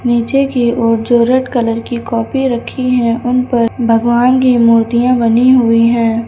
नीचे की ओर जो रेड कलर की कॉपी रखी है उन पर भगवान की मूर्तियां बनी हुई है।